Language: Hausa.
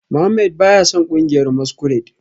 Mohammed baya son kungiyar masquerade